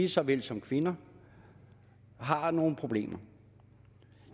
såvel som kvinder har nogle problemer